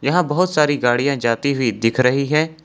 यहां बहोत सारी गाड़ियां जाती हुई दिख रही है।